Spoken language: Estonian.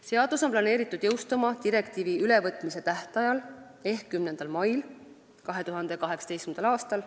Seadus on planeeritud jõustuma direktiivi ülevõtmise tähtajal ehk 10. mail 2018. aastal.